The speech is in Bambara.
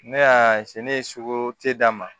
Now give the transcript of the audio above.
Ne y'a se ne ye sugu te da ma